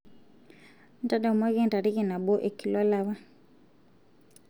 ntadamuaki entariki nabo e kila olapa